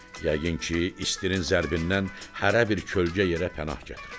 Yəqin ki, istinin zərbindən hərə bir kölgə yerə pənah gətirib.